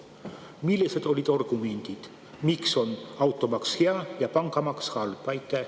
Millised olid argumendid, miks on automaks hea ja pangamaks halb?